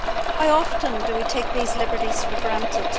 How often do we take these liberties for granted?